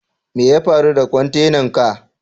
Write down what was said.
Me ya faru da kwantenan ka?